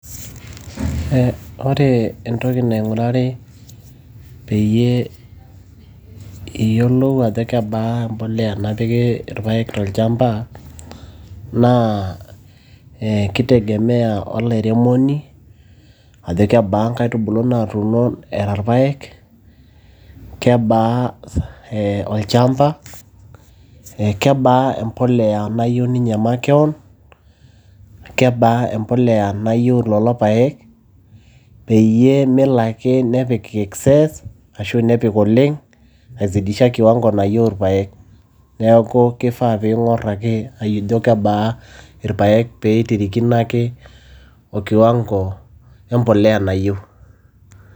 Ore entoki naing'urari pee iyiolou ajo kebaa mpolea napiki ilpaek tolchamba , naa keitegemea olairemoni ajo kebaa inkaitub ulu natuuno era ilpaek, kebaa olchamba , kebaa empolea nayieu ninye makeon, kebaa empolea nayieu ilelo paek peyie melo ake nepik excess ashu nepik oleng' aipitisha kiwango nayieu ilpaek. Neaku keifaa peeing'or ake ajo kebaa irpaek pee eitirikino ake okiwango empolea nayieu.